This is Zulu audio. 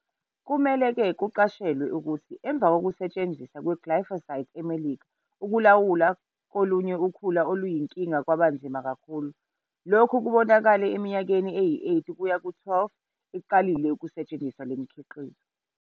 Kumele kuqashelwe-ke ukuthi emvakokusetshenziswa kweglyphosate eMelika ukulawula kolunye ukhula oluyinkinga kwaba nzima kakhulu. Lokhui kubonakale eminyakeni eyi-8 kuya ku-12 uqalile ukusetshenziswa lo mkhiqizo.